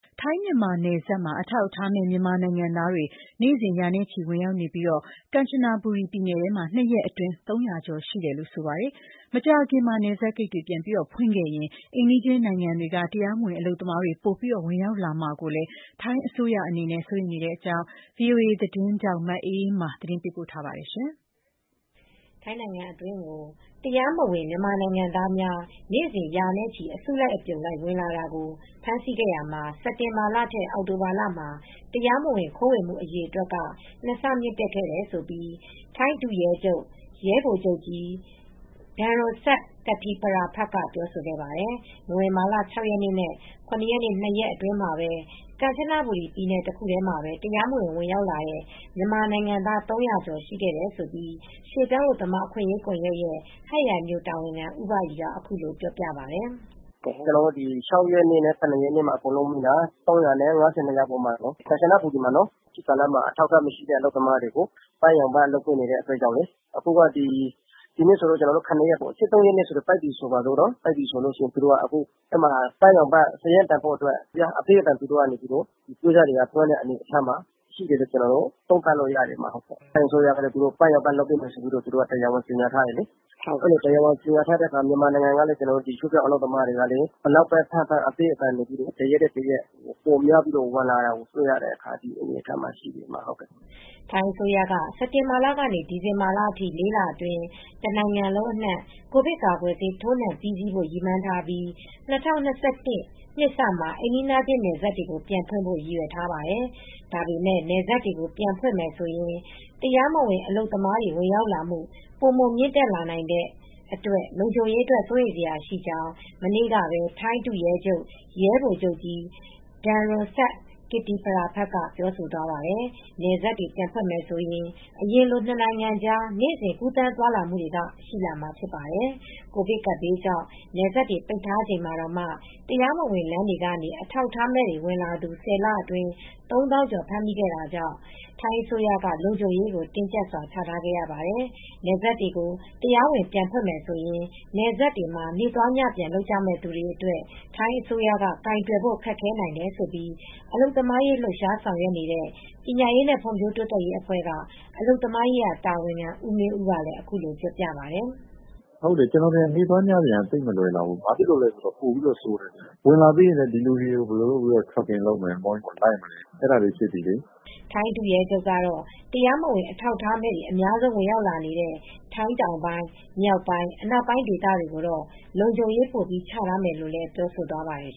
ထိုင်း-မြန်မာနယ်စပ်တွေမှာ အထောက်အထားမဲ့ မြန်မာနိုင်ငံသားတွေ နေ့စဉ် ရာနဲ့ချီ ဝင်ရောက်နေပြီး ကမ်ချနဘူရီပြည်နယ်ထဲမှာ ၂ ရက်အတွင်း ၃၀၀ ကျော်ရှိတယ်လို့ ဆိုပါတယ်။ ထိုင်းအစိုးရအနေနဲ့ မကြာခင်မှာ နယ်စပ်ဂိတ်တွေ ပြန်လည်ဖွင့်ခဲ့ရင် အိမ်နီးချင်းနိုင်ငံတွေက တရားမဝင် အလုပ်သမားတွေ ပိုမိုဝင်ရောက်လာမှာကို စိုးရိမ်ရတယ်လို့ ထိုင်းဒုရဲချုပ်က ပြောပါတယ်။ အပြည့်အစုံကို ထိုင်းအခြေစိုက် ဗွီအိုအေမြန်မာပိုင်း သတင်းထောက် မအေးအေးမာ တင်ပြပေးထားပါတယ်။ ထိုင်းနိုင်ငံအတွင်းကို တရားမဝင် မြန်မာနိုင်ငံသားတွေ နေ့စဉ် ရာနဲ့ချီ အစုလိုက်အပြုံလိုက် ဝင်လာတာကို ဖမ်းဆီးခဲ့ရာမှာ စက်တင်ဘာလထက် အောက်တိုဘာလမှာ တရားမဝင်ခိုးဝင်မှု အရေအတွက်က ၂ ဆ မြင့်တက်ခဲ့တယ်လို့ ထိုင်းဒုရဲချုပ် ရဲဗိုလ်ချုပ်ကြီး ဒမ်ရွန်စတ် ကစ်တီပရဖာ့က ပြောပါတယ်။ နိုဝင်ဘာလ ၆ ရက်နေ့နဲ့ ၇ ရက်နေ့ ၂ ရက်အတွင်း ကမ်ချနဘူရီပြည်နယ် တခုတည်းမှာပဲ တရားမဝင် ဝင်ရောက်လာတဲ့ မြန်မာနိုင်ငံသား ၃၀၀ ကျော်ရှိခဲ့တယ်လို့ ရွှေ့ပြောင်းအလုပ်သမား အခွင့်အရေးကွန်ရက်ရဲ့ ဟတ်ရိုင်မြို့တာဝန်ခံ ဦးဘရီက အခုလိုပြောပြပါတယ်။ “ကျနော်တို့ ၆ ရက်နေ့နဲ့ ၇ ရက်နေ့မှာ အကုန်လုံးမိတာ ခိုးဝင်လာသူ ၃၅၂ ယောက်ရှိတယ်၊ ကမ်ချနဘူရီမှာလေ။ ဒီကာလမှာ အထောက်အထားမရှိတဲ့ အလုပ်သမားတွေကို ပန်းရောင်ကတ် လုပ်ပေးနေတဲ့ကာလလေ။ ဒီနေ့ဆို ၇ ရက်လေ။ ၁၃ ရက်နေ့မှာ ပန်းရောင်ကတ် ပိတ်မယ်ဆိုတော့ ပန်းရောက်ကတ် (တရားဝင် အလုပ်လုပ်ခွင့် အထောက်အထားကတ်) စာရင်းသွင်းဖို့အတွက် အမီ ပွဲစားတွေက အသည်းအသန် သွင်းတယ်လို့ သုံးသပ်လို့ရတယ်။ ထိုင်းအစိုးရက ပန်းရောက်ကတ် လုပ်ပေးမယ်လို့ တရားဝင် ကြေညာထားတယ်။ အဲဒီလို ကြေညာထားတော့ ကျနော်တို့ မြန်မာအလုပ်သမားတွေကလည်း ဘယ်လောက်ပဲဖမ်းဖမ်း ပိုများပြီး ဝင်လာတဲ့ အနေအထားမှာ ရှိတယ်။” ထိုင်းအစိုးရက စက်တင်ဘာလကနေ ဒီဇင်ဘာလထိ ၄ လအတွင်း တနိုင်ငံလုံးအနှံ့ ကိုဗစ်ကာကွယ်ဆေး ထိုးနှံပြီးစီးဖို့ ရည်မှန်းထားပြီး ၂၀၂၂ နှစ်စမှာ အိမ်နီးချင်း နယ်စပ်တွေကို ပြန်ဖွင့်ဖို့ ရည်ရွယ်ထားပါတယ်။ ဒါပေမယ့် နယ်စပ်တွေကို ပြန်ဖွင့်မယ်ဆိုရင် တရားမဝင် အလုပ်သမားတွေ ဝင်ရောက်လာမှု ပိုမိုမြင့်တက်လာနိုင်တဲ့အတွက် လုံခြုံရေးအတွက် စိုးရိမ်စရာရှိကြောင်း မနေ့ကပဲ ထိုင်းဒုရဲချုပ် ရဲဗိုလ်ချုပ်ကြီး ဒမ်ရွန်စတ် ကစ်တီပရဖာ့က ပြောဆိုသွားပါတယ်။ နယ်စပ်တွေ ပြန်ဖွင့်မယ်ဆိုရင် အရင်လို နှစ်နိုင်ငံကြား နေ့စဉ် ကူးသန်းသွားလာမှုတွေက ရှိလာမှာဖြစ်ပါတယ်။ ကိုဗစ်ကပ်ဘေးကြောင့် နယ်စပ်တွေ ပိတ်ထားချိန်မှာတောင် တရားမဝင် လမ်းတွေကနေ အထောက်အထားမဲ့ဝင်လာသူ ၁၀ လအတွင်း ၃၀,၀၀၀ ကျော် ဖမ်းမိခဲ့တာကြောင့် ထိုင်းအစိုးရက လုံခြုံရေးကို တင်းကျပ်စွာ ချထားရပါတယ်။ နယ်စပ်တွေကို တရားဝင် ပြန်ဖွင့်မယ်ဆိုရင် နယ်စပ်မှာ နေ့သွားညပြန်လုပ်ကြမယ့် သူတွေအတွက် ထိုင်းအစိုးရက ကိုင်တွယ်ဖို့ ခက်ခဲနိုင်တယ်လို့ အလုပ်သမားရေး လှုပ်ရှားဆောင်ရွက်နေတဲ့ ပညာရေးနဲ့ ဖွံ့ဖြိုးတိုးတက်ရေးအဖွဲ့က အလုပ်သမားရေးရာ တာဝန်ခံ ဦးမင်းဦးကလည်း အခုလိုပြောပါတယ်။ “ကျနော်ထင်တယ် နေ့သွားညပြန်က မလွယ်လှဘူး။ ပိုပြီးဆိုးမယ်။ ဝင်လာပြီးရင်လည်း ဒီလူတွေကို ဘယ်လိုစောင့်ကြည့် စစ်ဆေးမလဲ ဆိုတာတွေက ဖြစ်လာပြီလေ။” ထိုင်းဒုရဲချုပ်ကတော့ တရားမဝင် အထောက်အထားမဲ့တွေ အများဆုံး ဝင်ရောက်လာနေတဲ့ ထိုင်းတောင်ပိုင်း၊ မြောက်ပိုင်း၊ အနောက်ပိုင်း ဒေသတွေကိုတော့ လုံခြုံရေး ပိုပြီးချထားမယ်လို့လည်း ပြောဆိုသွားပါတယ်